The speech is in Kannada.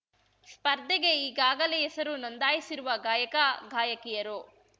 ಸ್ಪರ್ಧೆಗೆ ಈಗಾಗಲೇ ಹೆಸರು ನೋಂದಾಯಿಸಿರುವ ಗಾಯಕ ಗಾಯಕಿಯರು